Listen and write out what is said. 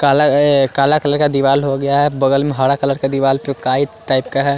काला ये काला कलर का दीवार हो गया है बगल में हरा कलर का दीवार पे काई टाइप का है।